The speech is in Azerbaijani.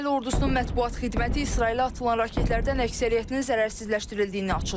İsrail ordusunun mətbuat xidməti İsrailə atılan raketlərdən əksəriyyətinin zərərsizləşdirildiyini açıqlayıb.